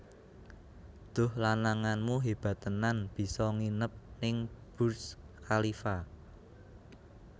Duh lananganmu hebat tenan biso nginep ning Burj Khalifa